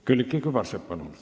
Külliki Kübarsepp, palun!